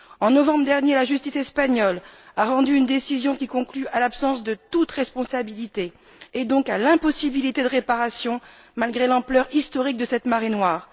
En novembre dernier, la justice espagnole a rendu une décision qui conclut à l'absence de toute responsabilité et donc à l'impossibilité de réparation malgré l'ampleur historique de cette marée noire.